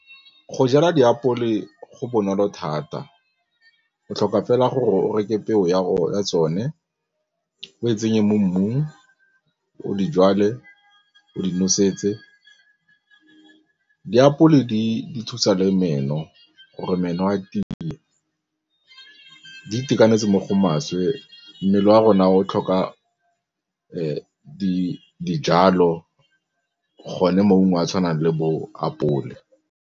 Go jala diapole go bonolo thata, o tlhoka fela gore o reke peo ya go tsone o e tsenye mo mmung o dijalo tse o di nosetse, diapole di thusa le meno ka meno a tiile, di itekanetse mo go maswe, mmele wa rona o tlhoka dijalo gone maungo a a tshwanang le bo apole.